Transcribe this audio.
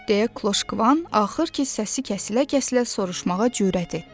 deyə Kloşqvan axır ki, səsi kəsilə-kəsilə soruşmağa cürət etdi.